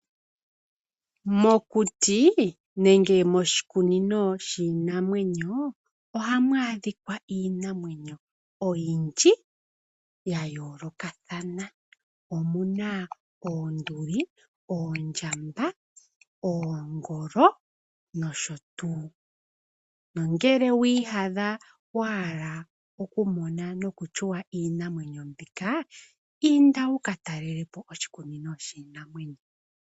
Mokuti nenge moshikunino shinamwenyo ,ohamu adhika iinamwenyo oyindji ya yolokathana Omuna oonduli ,oondjamba oongolo nosho tu. Nongele wi iyadha wa hala noku mona noku shuwa iinamwenyo mbika ,inda wuka talelepo oshikunino shinamwenyo